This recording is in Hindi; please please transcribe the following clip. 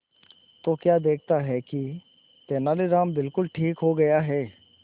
तो क्या देखता है कि तेनालीराम बिल्कुल ठीक हो गया है